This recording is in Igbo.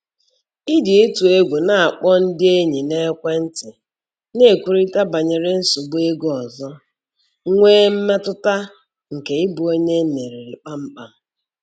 Iji ịtụ egwu na-akpọ ndị enyi n'ekwentị na-ekwurịta banyere nsogbu ego ọzọ, nwee mmetụta nke ịbụ onye e meriri kpam kpam.